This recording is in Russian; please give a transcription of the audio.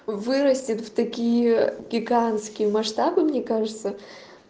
вырастет в такие гигантские масштабы мне кажется